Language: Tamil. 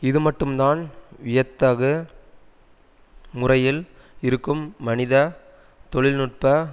இதுமட்டும்தான் வியத்தகு முறையில் இருக்கும் மனித தொழில் நுட்ப